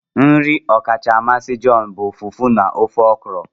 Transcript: Nri ọkacha mmasị John bụ Fufu na ofe Okro